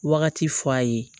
Wagati fɔ a ye